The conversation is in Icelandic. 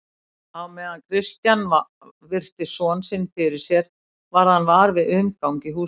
Á meðan Christian virti son sinn fyrir sér varð hann var við umgang í húsinu.